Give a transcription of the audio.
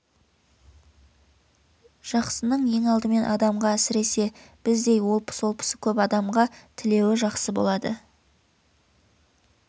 жақсының ең алдымен адамға әсіресе біздей олпы-солпысы көп адамға тілеуі жақсы болады